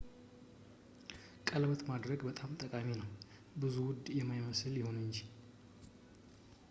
ቀለበት ማድረግም ጠቃሚ ነው ብዙ ውድ የማይመስል ይሁን እንጂ